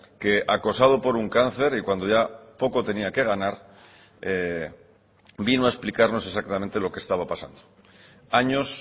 que acosado por un cáncer y cuando ya poco tenía que ganar vino a explicarnos exactamente lo que estaba pasando años